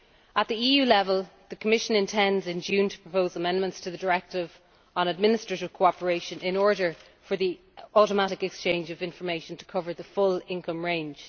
At EU level, the Commission intends in June to propose amendments to the Directive on administrative cooperation in order for the automatic exchange of information to cover the full income range.